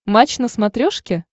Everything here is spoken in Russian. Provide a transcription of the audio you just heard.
матч на смотрешке